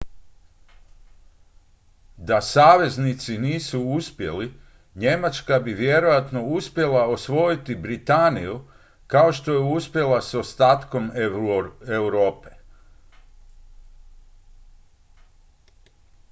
da saveznici nisu uspjeli njemačka bi vjerojatno uspjela osvojiti britaniju kao što je uspjela s ostatkom europe